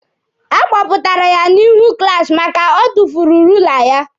A kpọpụtara ya n'ihu klaasi maka o tufuru ruula ya.